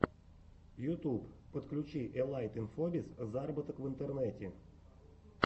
ютьюб подключи элайт инфобиз зароботок в интернете